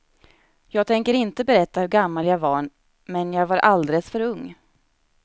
Jag tänker inte berätta hur gammal jag var men jag var alldeles för ung.